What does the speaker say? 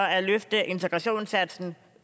at løfte integrationsindsatsen